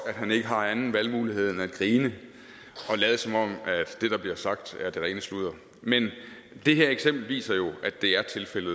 at han ikke har anden valgmulighed end at grine og lade som om at det der bliver sagt er det rene sludder men det her eksempel viser jo at det er tilfældet